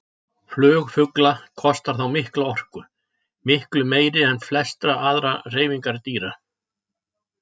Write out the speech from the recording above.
Flug fugla kostar þá mikla orku, miklu meiri en flestar aðrar hreyfingar dýra.